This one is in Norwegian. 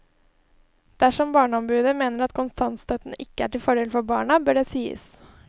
Dersom barneombudet mener at kontantstøtten ikke er til fordel for barna, bør det sies.